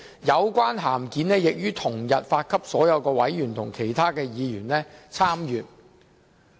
有關函件已於同日發給所有委員及其他議員參閱。